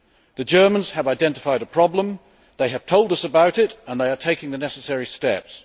The Germans have identified a problem, they have told us about it and they are taking the necessary steps.